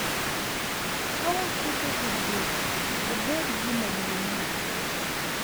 Ka waketo tudruok obed gima duong’ mokuongo,